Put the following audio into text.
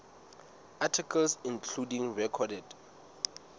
articles including recorded